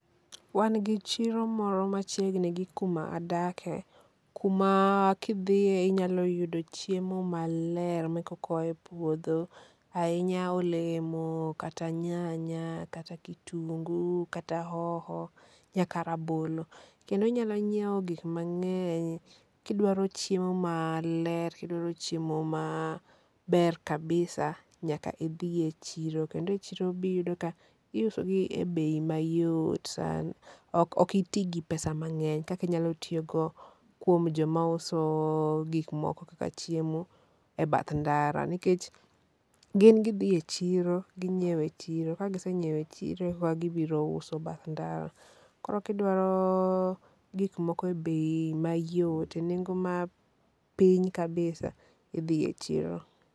Wan gi chiro moro machiegni gi kuma adake, kuma kidhie inyalo yudo chiemo maler ma e koka oa e puodho, ahinya olemo, kata nyanya, kata kitungu, kata hoho nyaka rabolo. Kendo inyalo nyieo gik mang'eny, kidwaro chiemo maler kidwaro chiemo maber kabisa nyaka idhi e chiro. Kendo e chiro be iyudo ka iuso gi e bei mayot san. Ok ito gi pesa m ang'eny kaka inyalo tiyogo kuom joma uso gik moko kaka chiemo e bath ndara, nikech gin gidhi e chiro ginyieo e chiro ka gisenyieo e chiro koka gibiro uso bath ndara. Koro ka idwaro gik moko e bei mayot, e nengo ma piny kabisa idhi e chiro.